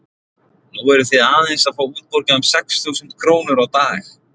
Nú eru þið aðeins að fá útborgað um sex þúsund krónur á dag?